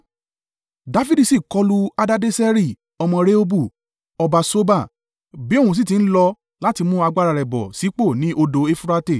Dafidi sì kọlu Hadadeseri ọmọ Rehobu, ọba Soba, bí òun sì ti ń lọ láti mú agbára rẹ̀ bọ̀ sípò ni odò Eufurate.